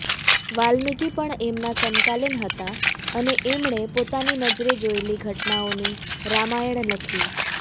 વાલ્મીકિ પણ એમના સમકાલીન હતા અને એમણે પોતાની નજરે જોયેલી ઘટનાઓની રામાયણ લખી